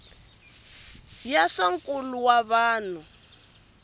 ya swa nkulo wa vanhu